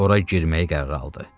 Ora girməyi qərarə aldı.